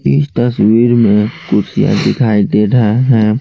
इस तस्वीर में दिखाई दे रहा है।